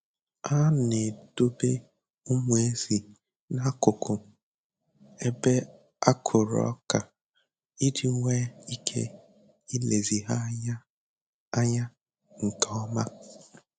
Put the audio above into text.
A na-edobe ụmụ ezi n'akụkụ ebe a kụrụ ọka iji nwee ike ilezi ha anya anya nke oma.